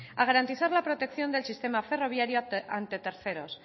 a garantizar la protección del sistema ferroviario ante terceros